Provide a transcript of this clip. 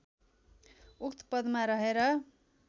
उक्त पदमा रहेर